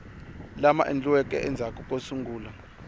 lama endliweke endzhaku ko sungula